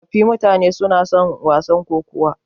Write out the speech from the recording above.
Tsofaffin mutane suna son wasan kokawa.